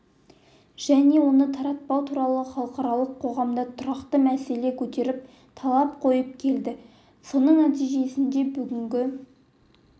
және оны таратпау туралы халықаралық қоғамда тұрақты мәселе көтеріп талап қойып келеді соның нәтижесінде бүгінгі